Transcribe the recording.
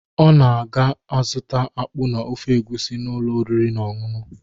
Ọ na ọ ga-azụta akpụ na ofe egwusi n’ụlọ oriri na ọñụñụ.